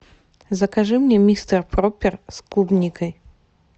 закажи мне мистер пропер с клубникой